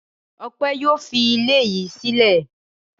Ọpẹ́ yóò fi ilé yìí sílẹ̀.